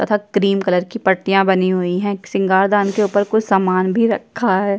तथा cream colour की पटियाँ बनी हुई हैं श्रृंगार दान के उपर कुछ सामान भी रखा है।